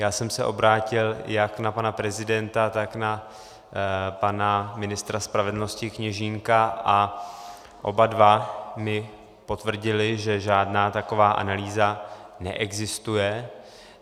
Já jsem se obrátil jak na pana prezidenta, tak na pana ministra spravedlnosti Kněžínka a oba dva mi potvrdili, že žádná taková analýza neexistuje.